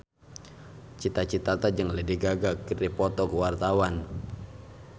Cita Citata jeung Lady Gaga keur dipoto ku wartawan